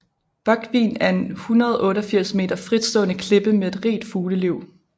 Búgvin er en 188 meter fritstående klippe med et rigt fugleliv